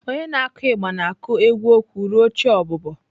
Onye na-akụ igba na-akụ egwu okwu ruo chi ọbụbọ.